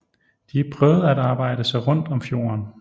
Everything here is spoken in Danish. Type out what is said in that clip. De prøvede at arbejde sig rundt om fjorden